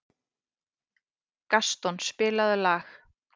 Gaston, spilaðu lag.